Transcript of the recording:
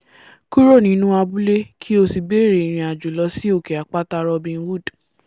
kúrò nínú abúlé kí ó sì bẹ̀ rẹ̀ ìrìnàjòo lo sí òkè àpáta robin hood